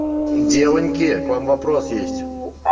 девоньки к вам вопрос есть